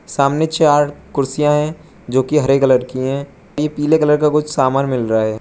सामने चार कुर्सियां है जो कि हरे कलर की है पी पीले कलर का कुछ सामान मिल रहा है।